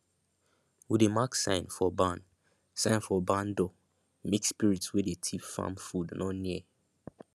we dey mark sign for barn sign for barn door make spirit wey dey thief farm food no near